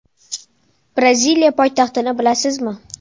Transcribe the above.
Braziliya poytaxtini bilasizmi?